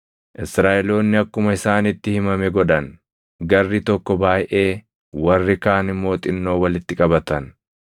Israaʼeloonni akkuma isaanitti himame godhan; garri tokko baayʼee, warri kaan immoo xinnoo walitti qabatan.